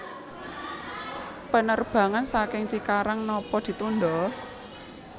Penerbangan saking Cikarang nopo ditunda?